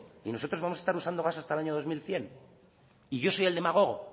y nosotros vamos a estar usando gas hasta el año dos mil cien y yo soy el demagogo